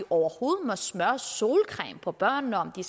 overhovedet må smøre solcreme på børnene om de